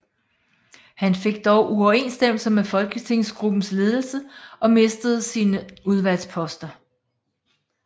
Han fik dog uoverensstemmelser med folketingsgruppens ledelse og mistede sine udvalgsposter